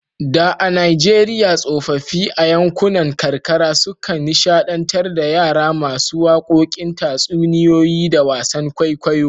Da a Najeriya tsofaffi a yankunan karkara sukan nishadantar da yara masu wakokin tatsuniyoyi da wasan kwaikwayo.